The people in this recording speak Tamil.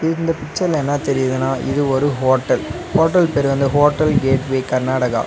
இந்த பிச்சர்ல என்னா தெரியுதுன்னா இது ஒரு ஹோட்டல் ஹோட்டல் பேரு வந்து ஹோட்டல் கேட் வே கர்நாடகா.